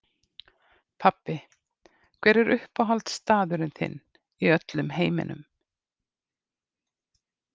Pabbi Hver er uppáhaldsstaðurinn þinn í öllum heiminum?